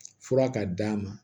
Fura ka d'a ma